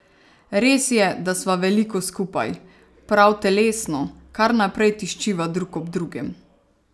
Res je, da sva veliko skupaj, prav telesno, kar naprej tiščiva drug ob drugem.